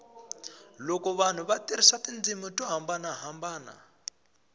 loko vanhu va tirhisa tindzimi to hambanahambana